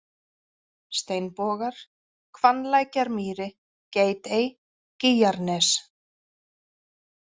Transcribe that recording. Steinbogar, Hvannlækjarmýri, Geitey, Gýgjarnes